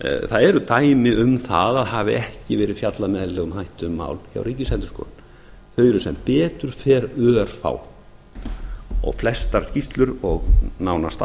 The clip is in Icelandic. það eru dæmi um að það hafi ekki verið fjallað með eðlilegum hætti um mál hjá ríkisendurskoðun þau eru sem betur fer örfá flestar skýrslur og nánast